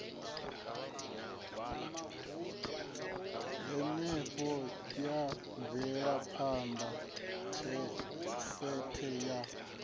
henefho ya mvelaphanda sethe ya